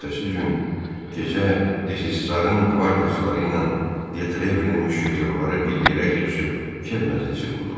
Ertəsi gün gecə Dizisarın qvardiyaçiləri ilə Di Trevlin müşketiyorları bir yerə yığışıb kef məclisi qurdular.